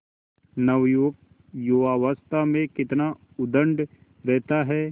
नवयुवक युवावस्था में कितना उद्दंड रहता है